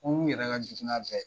Ko min yɛrɛ ka jugu n'a bɛɛ.